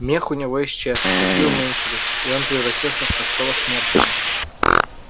мех у него исчез клыки уменьшились и он превратился в простого смертного